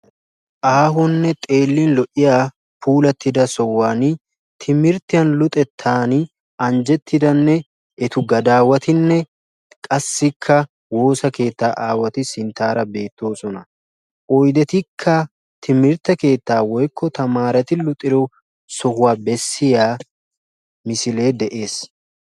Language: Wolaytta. aahone lo"iya sohuwani timirtiyani anjettida naatine etta gadawatti beettosona qassikka ammano aawatikka sinttara beettosona oydekka sintta bagara de"iyage beettesi.